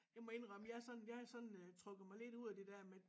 Jeg må inddrømme jeg har sådan jeg har sådan øh trukket mig lidt ud af det der med